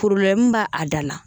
b'a a da la